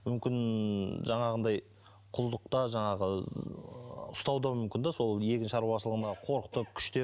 мүмкін жаңағындай құлдықта жаңағы ұстауы да мүмкін де сол егін шаруашылығына қорқытып күштеп